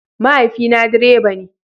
Mahaifina direba ne.